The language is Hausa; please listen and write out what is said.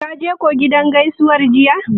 Kaje kuwa gidan gaisuwar jiya?